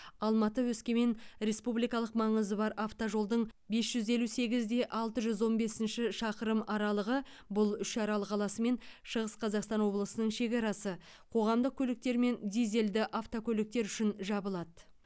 алматы өскемен республикалық маңызы бар автожолдың бес жүз елу сегіз де алты жүз он бесінші шақырым аралығы бұл үшарал қаласы мен шығыс қазақстан облысының шекарасы қоғамдық көліктер мен дизельді автокөліктер үшін жабылады